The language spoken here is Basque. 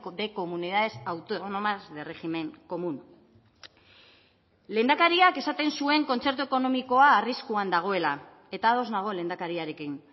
de comunidades autónomas de régimen común lehendakariak esaten zuen kontzertu ekonomikoa arriskuan dagoela eta ados nago lehendakariarekin